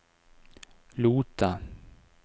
Lote